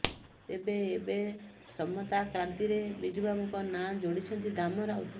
ତେବେ ଏବେ ସମତାକ୍ରାନ୍ତିରେ ବିଜୁବାବୁଙ୍କ ନାଁ ଯୋଡ଼ିଛନ୍ତି ଦାମ ରାଉତ